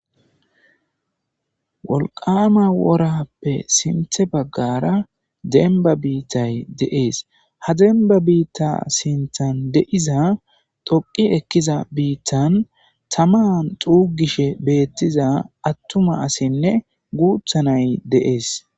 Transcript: wolqama worappe sinthe baggara demba biittay deees ha denba biitta sinthan de7iza dhoqi ekkiza biittan taman xuugishe beettiza attuma asinne guuthanay deees